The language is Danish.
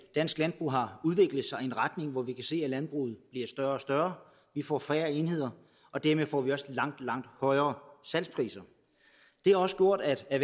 dansk landbrug har udviklet sig i en retning hvor vi kan se at landbrugene bliver større og større vi får færre enheder og dermed får vi også langt langt højere salgspriser det har også gjort at